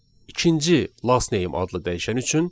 İkinci last name adlı dəyişən üçün.